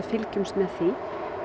fylgjumst með því